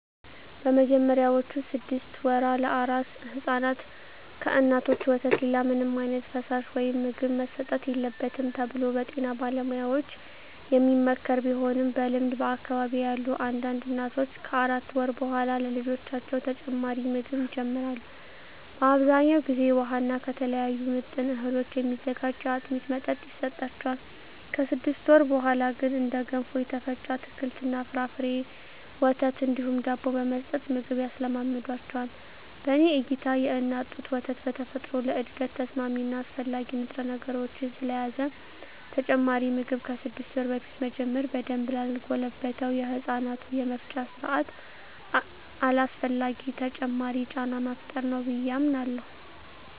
በመጀመሪያዎቹ ስድስት ወራ ለአራስ ሕፃናት ከእናቶች ወተት ሌላ ምንም ዓይነት ፈሳሽ ወይም ምግብ መሰጠት የለበትም ተብሎ በጤና ባለሙያዎች የሚመከር ቢሆንም በልምድ በአካባቢየ ያሉ አንዳንድ እናቶች ከአራት ወር በኃላ ለልጆቻቸው ተጨማሪ ምግብ ይጀምራሉ። በአብዛኛው ጊዜ ውሃ እና ከተለያዩ ምጥን እህሎች የሚዘጋጅ የአጥሚት መጠጥ ይሰጣቸዋል። ከስድስት ወር በኀላ ግን እንደ ገንፎ፣ የተፈጨ አትክልት እና ፍራፍሬ፣ ወተት እንዲሁም ዳቦ በመስጠት ምግብ ያስለምዷቸዋል። በኔ እይታ የእናት ጡት ወተት በተፈጥሮ ለእድገት ተስማሚ እና አስፈላጊ ንጥረነገሮችን ስለያዘ ተጨማሪ ምግብ ከስድስት ወር በፊት መጀመር በደንብ ላልጎለበተው የህፃናቱ የመፍጫ ስርአት አላስፈላጊ ተጨማሪ ጫና መፍጠር ነው ብየ አምናለሁ።